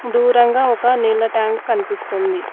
దూరంగా ఒక నీళ్ల ట్యాంక్ కనిపిస్తుంది.